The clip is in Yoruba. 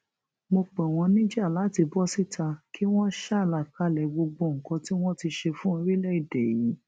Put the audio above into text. mo pè wọn níjà láti bọ síta kí wọn ṣàlàkalẹ gbogbo nǹkan tí wọn ti ṣe fún orílẹèdè yìí